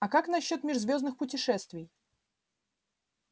а как насчёт межзвёздных путешествий